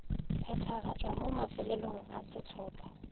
phethagatšwa mo mafelelong a sehlopha